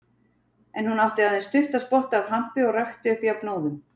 En hún átti aðeins stuttan spotta af hampi og rakti upp jafnóðum.